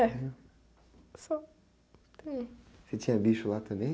É, só, não tenho...ocê tinha bicho lá também?